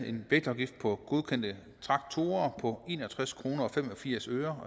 en vægtafgift på godkendte traktorer på en og tres kroner og fem og firs øre